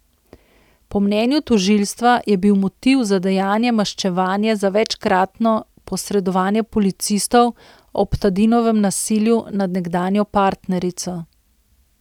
Po mnenju tožilstva je bil motiv za dejanje maščevanje za večkratno posredovanje policistov ob Tadinovem nasilju nad nekdanjo partnerico.